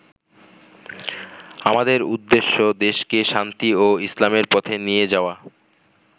আমাদের উদ্দেশ্য দেশকে শান্তি ও ইসলামের পথে নিয়ে যাওয়া।